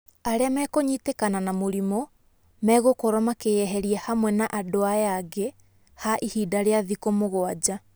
Arĩa mekũnyitĩkana na mũrimũ megũkorwo makĩyeheria hamwe na andũ aya angĩ ha ihinda rĩa thikũ mũgwanja.